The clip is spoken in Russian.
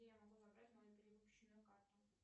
где я могу забрать мою перевыпущенную карту